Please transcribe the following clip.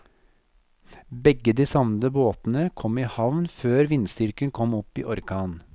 Begge de savnede båtene kom i havn før vindstyrken kom opp i orkan.